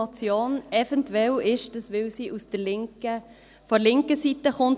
Eventuell ist dies so, weil sie von der linken Seite kommt.